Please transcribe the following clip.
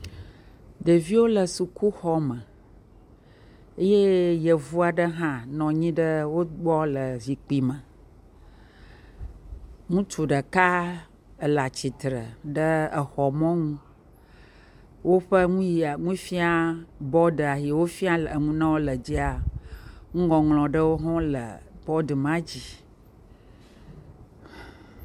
Ɖeviwo le sukuxɔ me eye yevu aɖe nɔ wo gbɔ le zikpui me, ye ŋutsua ɖeka le atsitre ɖe exɔ mɔnu, woƒe nufia bɔd, ye wofia nu le dzia, nuŋɔŋlɔ nu ma dzi.